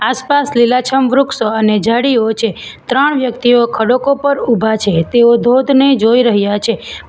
આસપાસ લીલાછમ વૃક્ષો અને ઝાડીઓ છે ત્રણ વ્યક્તિઓ ખડકો પર ઉભા છે તેઓ ધોધ ને જોઈ રહ્યા છે.